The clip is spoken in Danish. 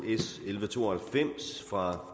s elleve to og halvfems fra